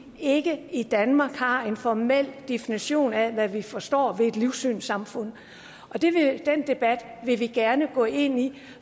ikke i danmark har en formel definition af hvad vi forstår ved et livssynssamfund den debat vil vi gerne gå ind i